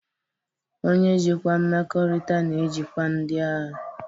Onye njikwa mmekọrịta na-ejikwa ndị ahịa.